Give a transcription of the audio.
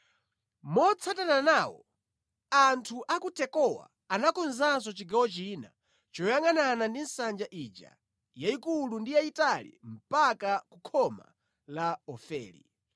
Motsatana nawo, anthu a ku Tekowa anakonzanso chigawo china choyangʼanana ndi nsanja ija yayikulu ndi yayitali mpaka ku khoma la Ofeli.